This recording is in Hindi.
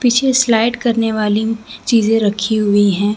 पीछे स्लाइड करने वाली चीजें रखी हुई है।